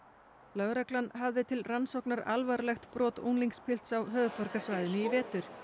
lögreglan hafði til rannsóknar alvarlegt brot á höfuðborgarsvæðinu í fyrravetur